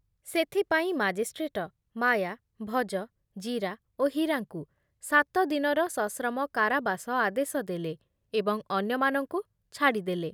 ସେଥିପାଇଁ ମାଜିଷ୍ଟ୍ରେଟ ମାୟା, ଭଜ, ଜୀରା ଓ ହୀରାଙ୍କୁ ସାତ ଦିନର ସଶ୍ରମ କାରାବାସ ଆଦେଶ ଦେଲେ ଏବଂ ଅନ୍ୟମାନଙ୍କୁ ଛାଡ଼ିଦେଲେ ।